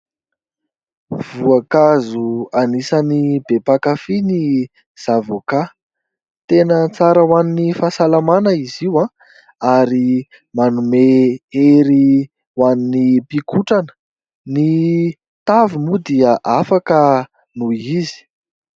Voankazo anisan'ny be mpakafý ny zavoka. Tena tsara ho an'ny fahasalamana izy io ary manome ery ho an'ny mpikotrana. Ny tavy moa dia afaka noho izy.